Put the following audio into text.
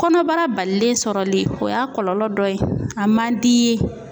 Kɔnɔbara balilen sɔrɔli o y'a kɔlɔlɔ dɔ ye a man d'i ye.